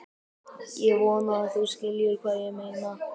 Ég vona að þú skiljir hvað ég meina.